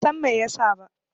Ban San Mai ya sa ba.